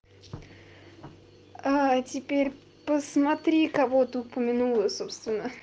а теперь посмотри кого ты упомянула собственно